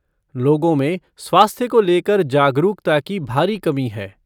लोगों में स्वास्थ्य को लेकर जागरूकता की भारी कमी है।